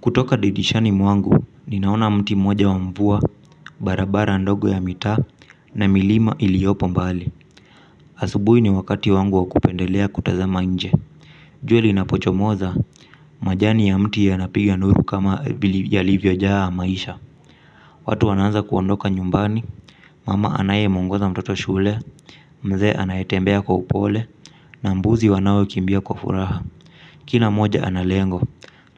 Kutoka didishani mwangu, ninaona mti mmoja wa mvua, barabara ndogo ya mitaa na milima iliopo mbali. Asubui ni wakati wangu wa kupendelea kutazama nje. Jue linapochomoza, majani ya mti yanapiga nuru kama yalivyo jaa maisha. Watu wanaanza kuondoka nyumbani, mama anaye muongoza mtoto shule, mzee anayetembea kwa upole, na mbuzi wanao kimbia kwa furaha. Kila mmoja ana lengo,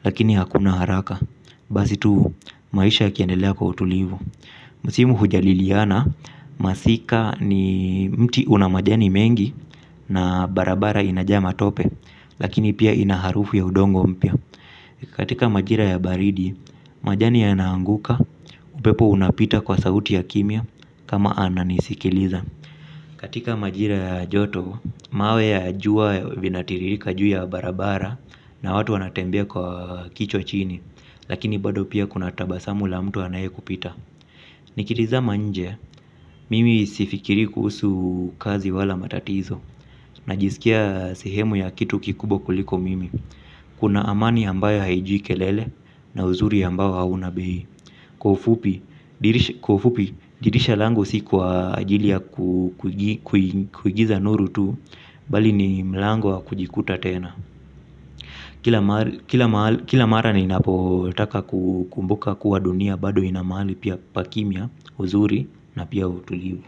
lakini hakuna haraka. Basi tu, maisha yakiendelea kwa utulivu. Msimu hujaliliana, masika ni mti una majani mengi na barabara inajaa matope. Lakini pia ina harufu ya udongo mpya. Katika majira ya baridi, majani yana anguka upepo unapita kwa sauti ya kimya kama ananisikiliza. Katika majira ya joto, mawe ya jua vinatiririka juu ya barabara na watu wanatembea kwa kichwa chini. Lakini bado pia kuna tabasamu la mtu anaye kupita. Nikitizama nje, mimi sifikirii kuusu kazi wala matatizo. Najiskia sehemu ya kitu kikubwa kuliko mimi. Kuna amani ambayo haijui kelele na uzuri ambayo hauna bei. Kwa ufupi, dirisha langu si kwa ajili ya kuigiza nuru tu bali ni mlango wa kujikuta tena. Kila mara ninapotaka ku kumbuka kuwa dunia bado ina mahali pia pa kimya, uzuri na pia utulivu.